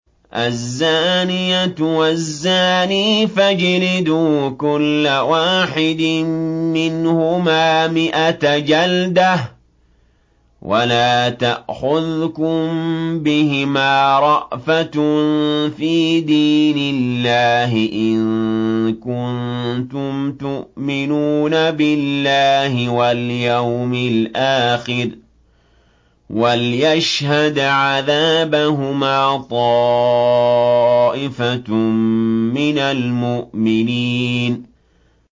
الزَّانِيَةُ وَالزَّانِي فَاجْلِدُوا كُلَّ وَاحِدٍ مِّنْهُمَا مِائَةَ جَلْدَةٍ ۖ وَلَا تَأْخُذْكُم بِهِمَا رَأْفَةٌ فِي دِينِ اللَّهِ إِن كُنتُمْ تُؤْمِنُونَ بِاللَّهِ وَالْيَوْمِ الْآخِرِ ۖ وَلْيَشْهَدْ عَذَابَهُمَا طَائِفَةٌ مِّنَ الْمُؤْمِنِينَ